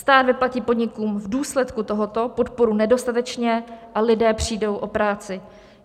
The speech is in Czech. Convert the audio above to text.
Stát vyplatí podnikům v důsledku tohoto podporu nedostatečně a lidé přijdou o práci.